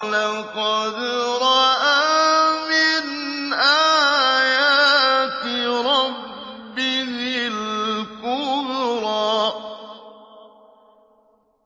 لَقَدْ رَأَىٰ مِنْ آيَاتِ رَبِّهِ الْكُبْرَىٰ